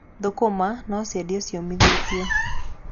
Thũkũma no ciendio ciũmithĩtio.